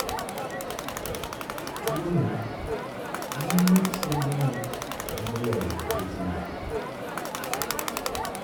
Tuwono hinyo tiendene moloyo bedene.